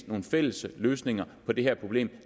nogle fælles løsninger på det her problem